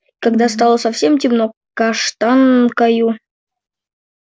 когда стало совсем темно каштанкою